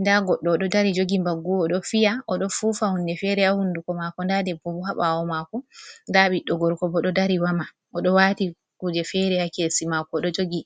nda goɗɗo oɗo dari jogi mbaggu odo fiya oɗo fufa hunde fere ha hunduko mako, nda debbo bo ha ɓawo mako nda ɓiɗɗo gorko bo ɗo dari woma oɗo wati kuje fere ha kesi mako oɗo jogi.